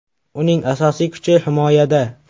Uning asosiy kuchi himoyada.